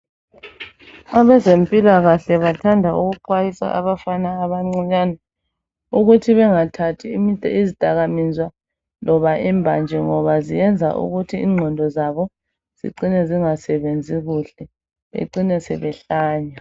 Abezimpilakahle bathanda ukuxwasisa abafana abancinyane ukuthi bengathathi izidakamizwa loba imbanje ngoba zenza ukuthi ingqondo zabo zicine zingasebenzi kuhle becine sebehlanya.